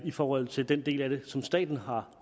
i forhold til den del af det som staten har